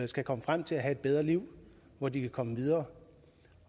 skal komme frem til at have et bedre liv hvor de kan komme videre